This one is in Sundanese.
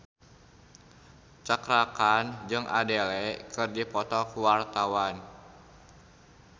Cakra Khan jeung Adele keur dipoto ku wartawan